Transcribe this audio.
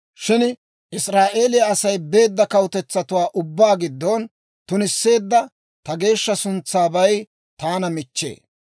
Shin Israa'eeliyaa Asay beedda kawutetsatuwaa ubbaa giddon tunisseedda ta geeshsha suntsaabay taana michchee.